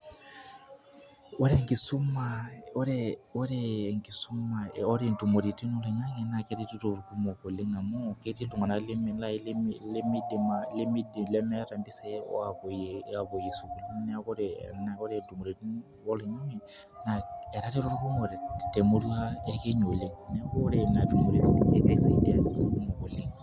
Ore enkisuma ore ntumoritin oloing'ang'e na keretito irkumok oleng amu ketii iltung'anak lai limidim lemeeta mpisai apuoyie sukuul. Neeku ore entumoritin oloing'ang'e, naa etareto irkumok temurua e Kenya oleng. Neku ore nena tumoritin kegira aisaidia irkumok oleng.